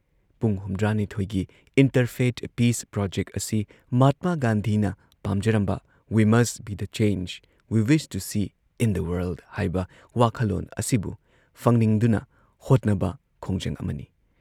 ꯄꯨꯡ ꯍꯨꯝꯗ꯭ꯔꯥꯅꯤꯊꯣꯏꯒꯤ interfaith peace project ꯑꯁꯤ ꯃꯍꯥꯠꯃꯥ ꯒꯥꯟꯙꯤꯅ ꯄꯥꯝꯖꯔꯝꯕ " we must be the change we wish to see in the world " ꯍꯥꯏꯕ ꯋꯥꯈꯜꯂꯣꯟ ꯑꯁꯤꯕꯨ ꯐꯪꯅꯤꯡꯗꯨꯅ ꯍꯣꯠꯅꯕ ꯈꯣꯡꯖꯪ ꯑꯃꯅꯤ꯫